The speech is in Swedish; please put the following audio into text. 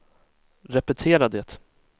repetera det